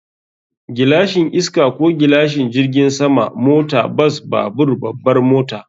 Gilashin iska ko gilashin jirgin sama, mota, bas, babur, babbar mota.